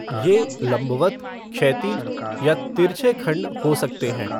ये लम्बवत क्षैतिज या तिरछे खंड हो सकते हैं।